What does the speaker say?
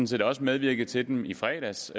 set også medvirket til dem i fredags